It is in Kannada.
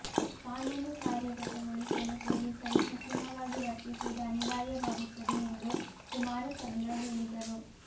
ಕಾನೂನು ಕಾರ್ಯಗತಗೊಳಿಸಲು ಪೊಲೀಸರು ಕಠಿಣವಾಗಿ ವರ್ತಿಸುವುದು ಅನಿವಾರ್ಯವಾಗುತ್ತದೆ ಎಂದು ಕುಮಾರಚಂದ್ರ ಹೇಳಿದರು